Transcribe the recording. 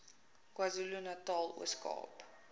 kwazulunatal ooskaap